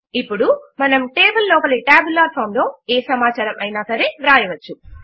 ఇప్పుడు మనము టేబుల్ లోపలి టాబ్యులర్ ఫామ్ లో ఏ సమాచారము అయినా సరే వ్రాయవచ్చు